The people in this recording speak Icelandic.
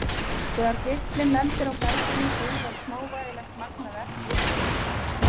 Þegar geislinn lendir á berginu gufar smávægilegt magn af efni upp af því.